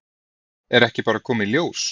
Er ekki bara að koma í ljós?